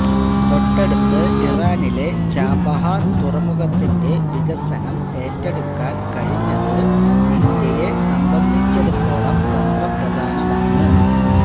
തൊട്ടടുത്ത് ഇറാനിലെ ചാബഹാര് തുറമുഖത്തിന്റെ വികസനം ഏറ്റെടുക്കാന് കഴിഞ്ഞത് ഇന്ത്യയെ സംബന്ധിച്ചിടത്തോളം തന്ത്രപ്രധാനമാണ്